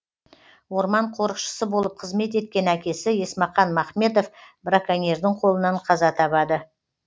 орман қорықшысы болып қызмет еткен әкесі есмақан махметов браконьердің қолынан қаза табады